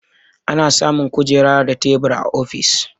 Ana samun kujera da tebur a ofis.